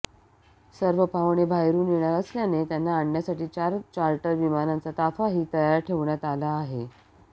सर्व पाहुणे बाहेरुन येणार असल्याने त्यांना आणण्यासाठी चार चार्टर विमानांचा ताफाही तयार ठेवण्यात आला आहे